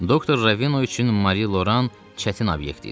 Doktor Ravino üçün Mari Loran çətin obyekt idi.